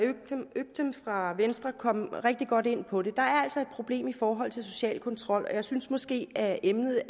øktem fra venstre kom rigtig godt ind på det der altså et problem i forhold til social kontrol og jeg synes måske at emnet